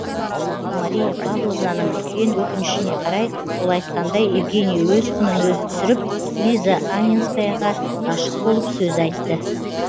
мария павловнаның үлкен өкінішіне қарай ол айтқандай евгений өз құнын өзі түсіріп лиза анненскаяга ғашық болып сөз айтты